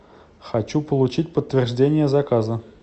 хочу получить подтверждение заказа